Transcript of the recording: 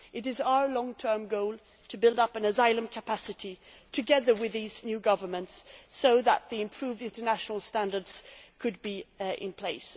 It is our long term goal to build up an asylum capacity together with these new governments so that the improved international standards can be in place.